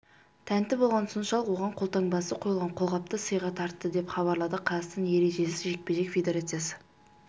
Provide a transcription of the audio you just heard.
тәнті болғаны соншалық оған қолтаңбасы қойылған қолғапты сыйға тарты деп хабарлады қазақстан ережесіз жекпе-жек федерациясы